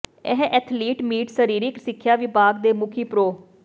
ਇਹ athletic meet ਸਰੀਰਕ ਸਿੱਖਿਆ ਵਿਭਾਗ ਦੇ ਮੁਖੀ ਪ੍ਰੋ